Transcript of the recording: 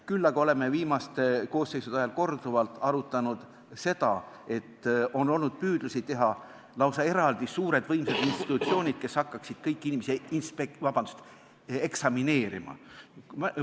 Küll aga oleme viimaste koosseisude ajal korduvalt arutanud seda, et on olnud püüdlusi teha lausa eraldi suured võimsad institutsioonid, kes peaksid hakkama kõiki inimesi eksamineerima.